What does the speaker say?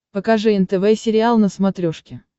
покажи нтв сериал на смотрешке